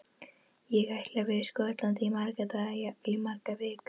Ég ætla að vera í Skotlandi í marga daga, jafnvel í margar vikur.